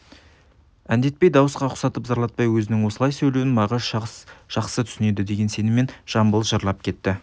әндетпей дауысқа ұсатып зарлатпай өзінің осылай сөйлеуін мағаш жас жақсы түсінеді деген сеніммен жамбыл жырлап кетті